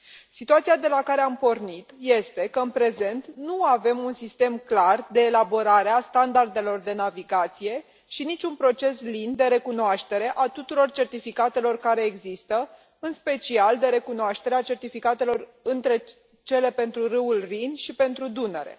Situația de la care am pornit este că în prezent nu avem un sistem clar de elaborare a standardelor de navigație și nici un proces lin de recunoaștere a tuturor certificatelor care există, în special de recunoaștere a certificatelor pentru râul Rin și pentru Dunăre.